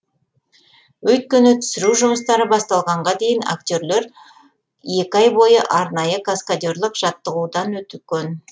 өйткені түсіру жұмыстары басталғанға дейін актерлер екі ай бойы арнайы каскадерлік жаттығудан өткен